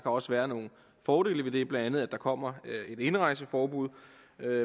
også være nogle fordele ved det blandt andet at der kommer et indrejseforbud